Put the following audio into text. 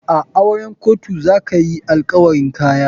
A auren kotu za ka hi alkawarin Kaya.